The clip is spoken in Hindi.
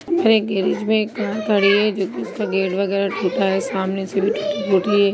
एक गैरिज में एक कार खड़ी है जो की उसका गेट बगेरा टुटा है| सामने से भी टूटी- मूटी है।